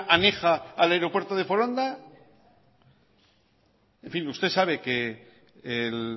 aneja a la aeropuerto de foronda en fin usted sabe que el